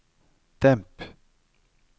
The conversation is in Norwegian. demp